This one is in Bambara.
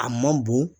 A man bon